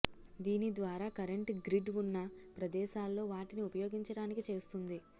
దీనిద్వారా current grid ఉన్న ప్రదేశాల్లో వాటిని ఉపయోగించడానికి చేస్తుంది